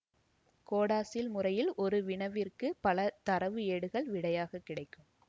CODASYL முறையில் ஒரு வினவிற்கு பல தரவு ஏடுகள் விடையாக கிடைக்கும்